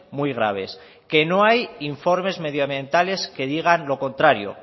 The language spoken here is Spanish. muy graves que no hay informes medioambientales que digan lo contrario